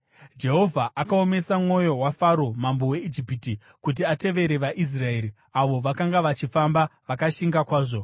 Jehovha akaomesa mwoyo waFaro mambo weIjipiti, kuti atevere vaIsraeri, avo vakanga vachifamba vakashinga kwazvo.